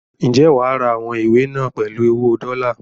Ǹjẹ́ wà á ra àwọn ìwé náà pèlú owó dọ́lá?